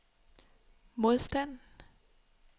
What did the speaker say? modstand